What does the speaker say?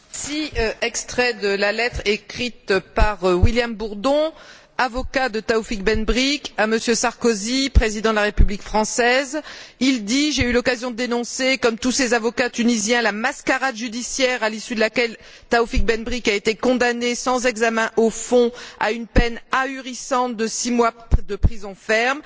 Monsieur le Président, voici un extrait de la lettre écrite par William Bourdon, avocat de Taoufik Ben Brik, à M. Sarkozy, président de la République française j'ai eu l'occasion de dénoncer, comme tous ses avocats tunisiens, la mascarade judiciaire à l'issue de laquelle Taoufik Ben Brik a été condamné, sans examen au fond, à une peine ahurissante de six mois de prison ferme.